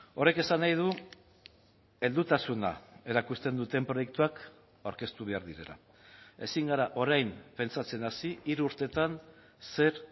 horrek esan nahi du heldutasuna erakusten duten proiektuak aurkeztu behar direla ezin gara orain pentsatzen hasi hiru urtetan zer